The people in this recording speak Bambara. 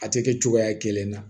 A tɛ kɛ cogoya kelen na